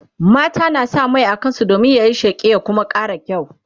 mata na sa Mai a kansu Dan yayi sheƙi ya Kuma ƙara kyau